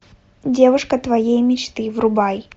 девушка твоей мечты врубай